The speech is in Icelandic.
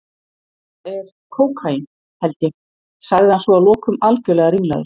Þetta er. kókaín, held ég- sagði hann svo að lokum, algjörlega ringlaður.